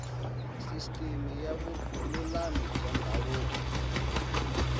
sisiteme ya vululami bya ndhavuko